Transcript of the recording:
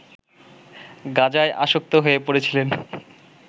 গাঁজায় আসক্ত হয়ে পড়েছিলেন